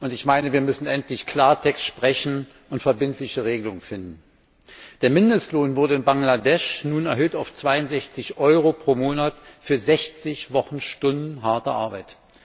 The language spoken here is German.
Ich meine, wir müssen endlich Klartext sprechen und verbindliche Regelungen finden. Der Mindestlohn wurde in Bangladesch nun erhöht auf 62 Euro pro Monat für 60 Wochenstunden harte Arbeit.